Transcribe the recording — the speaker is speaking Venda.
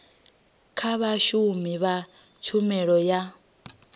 kha vhashumi vha tshumelo ya